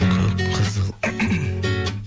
көк қызыл